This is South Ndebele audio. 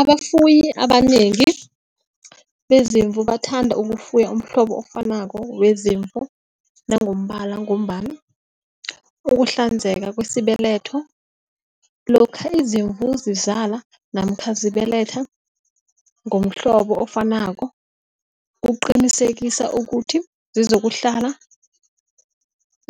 Abafuyi abanengi bezimvu bathanda ukufuya umhlobo ofanako wezimvu nangombala ngombana ukuhlanzeka kwesibeletho lokha izimvu zizala namkha zibelethwa ngomhlobo ofanako, kuqinisekisa ukuthi zizokuhlala,